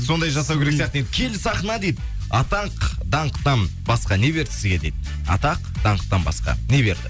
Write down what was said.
сондай жасау керек сияқты енді киелі сахна дейді атақ даңқтан басқа не берді сізге дейді атақ даңқтан басқа не берді